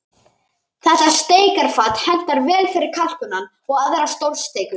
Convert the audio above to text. Þetta steikarfat hentar vel fyrir kalkúnann og aðrar stórsteikur.